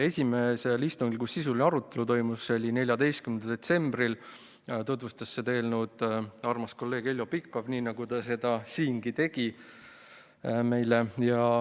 Esimesel istungil, kus toimus sisuline arutelu, see oli 14. detsembril, tutvustas meile seda eelnõu armas kolleeg Heljo Pikhof, nii nagu ta tegi seda siingi.